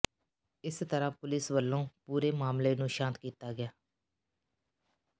ਇਸ ਤਰਾਂ ਪੁਲਿਸ ਵੱਲੋਂ ਪੂਰੇ ਮਾਮਲੇ ਨੂੰ ਸ਼ਾਂਤ ਕੀਤਾ ਗਿਆ